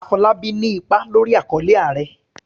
Afolábí ní ipa lórí àkọlé"Ààrẹ".